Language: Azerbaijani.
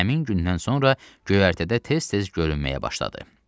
Lakin həmin gündən sonra göyərtədə tez-tez görünməyə başladı.